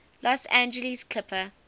los angeles clippers